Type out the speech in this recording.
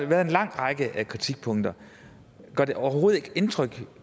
været en lang række kritikpunkter gør det overhovedet ikke indtryk